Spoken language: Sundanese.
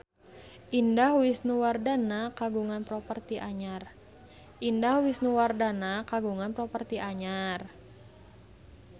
Indah Wisnuwardana kagungan properti anyar